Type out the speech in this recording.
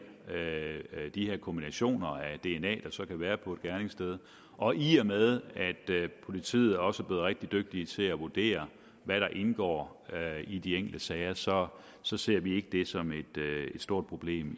de her kombinationer af dna så kan være på et gerningssted og i og med at politiet også rigtig dygtige til at vurdere hvad der indgår i de enkelte sager så så ser vi i ikke det som et stort problem